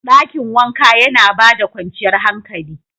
Dakin wanka yana ba da kwanciyar hankali.